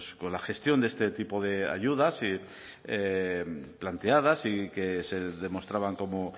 con la gestión de este tipo de ayudas planteadas y que se demostraban como